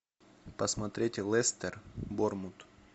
посмотреть лестер борнмут